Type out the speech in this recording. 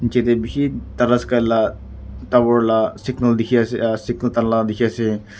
nichete bishi tatasky lah tower lah signal dikhi ase aah signal tala dikhi ase.